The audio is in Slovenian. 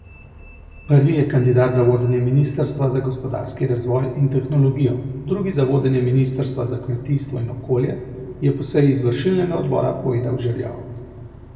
Prvi je kandidat za vodenje ministrstva za gospodarski razvoj in tehnologijo, drugi za vodenje ministrstva za kmetijstvo in okolje, je po seji izvršilnega odbora povedal Žerjav.